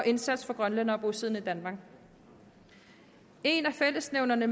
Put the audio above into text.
indsats for grønlændere bosiddende i danmark en af fællesnævnerne